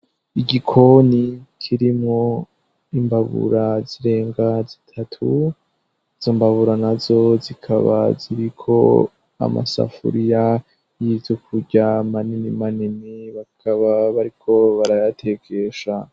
Igikoni kiri mu imbabura zirenga zitatu zombabura na zo zikaba zibiko amasafuriya yize ukurya manini manini bakaba bariko barayatekesha.